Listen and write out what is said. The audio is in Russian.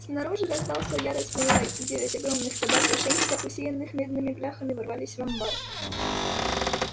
снаружи раздался яростный лай и девять огромных собак в ошейниках усеянных медными бляхами ворвались в амбар